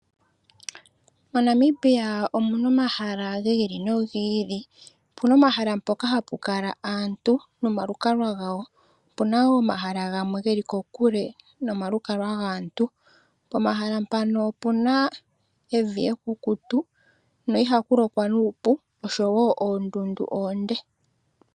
MoNamibia omu na omahala gi ili no gi ili. Opu na omahala ngoka hapu kala aantu nomalukalwa gawo. Opu na woo omahala gamwe geli kokule nomalukalwa gaantu. Pomahala mpano opu na evi ekukutu noondundu oonde ko ihaku lokwa nuupu.